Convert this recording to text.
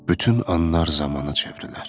Bütün anlar zəmana çevrilər.